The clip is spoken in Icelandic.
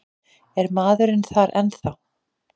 Er maðurinn þar ennþá?